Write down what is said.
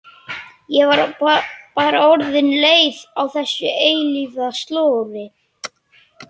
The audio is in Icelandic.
Ég var bara orðin leið á þessu eilífa slori.